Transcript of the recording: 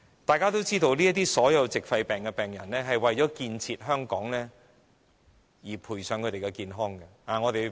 大家也知道，所有這些矽肺病人都為了建設香港而賠上健康。